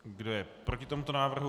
Kdo je proti tomuto návrhu?